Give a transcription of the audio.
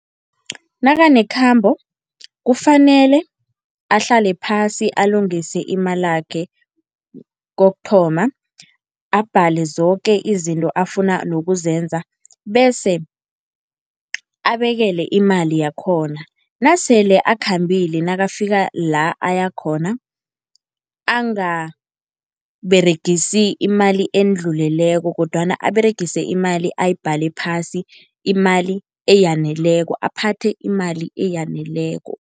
Nakanekhambo kufanele ahlale phasi alungise imalakhe, kokuthoma. Abhale zoke izinto afuna nokuzenza bese abekele imali yakhona. Nasele akhambile nakafika la ayakhona angaberegisi imali endluleleko kodwana aberegise imali ayibhale phasi, imali eyaneleko. Aphathe imali eyaneleko.